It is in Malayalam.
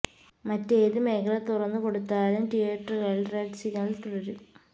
മറ്റ് ഏത് മേഖല തുറന്ന് കൊടുത്താലും തിയ്യറ്ററുകളില് റെഡ് സിഗ്നല് തുടരും